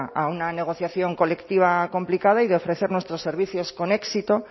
a una negociación colectiva complicada y de ofrecer nuestros servicios con éxito